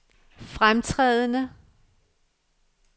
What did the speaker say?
fremtrædende